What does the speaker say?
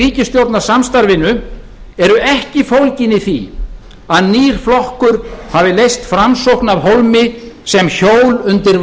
ríkisstjórnarsamstarfinu eru ekki fólgin í því að nýr flokkur hafi leyst framsókn af hólmi sem hjól undir